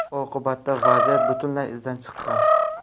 Oqibatda vaziyat butunlay izdan chiqqan.